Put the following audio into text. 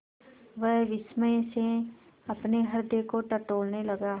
वह विस्मय से अपने हृदय को टटोलने लगा